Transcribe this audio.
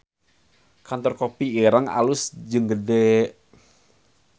Kantor Kopi Ireng alus jeung gede